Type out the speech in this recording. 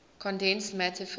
condensed matter physics